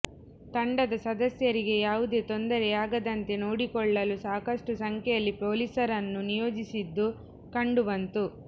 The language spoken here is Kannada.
ತಂಡದ ಸದಸ್ಯರಿಗೆ ಯಾವುದೇ ತೊಂದರೆಯಾಗದಂತೆ ನೋಡಿಕೊಳ್ಳಲು ಸಾಕಷ್ಟು ಸಂಖ್ಯೆಯಲ್ಲಿ ಪೊಲೀಸರನ್ನು ನಿಯೋಜಿಸಿದ್ದು ಕಂಡು ಬಂತು